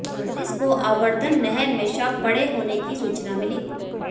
police को आवर्धन नहर में शव पड़े होने की सूचना मिली